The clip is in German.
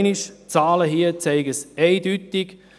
Die Zahlen zeigen es eindeutig.